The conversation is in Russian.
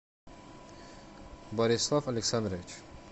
борислав александрович